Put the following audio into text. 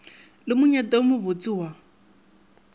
le monyetla wo mobotse wa